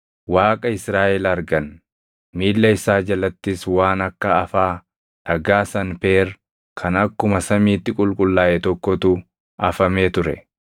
Waaqa Israaʼel argan. Miilla isaa jalattis waan akka afaa dhagaa Sanpeer kan akkuma samiitti qulqullaaʼe tokkotu afamee ture.